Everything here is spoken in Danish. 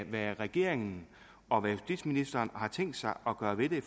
hvad regeringen og justitsministeren har tænkt sig at gøre ved det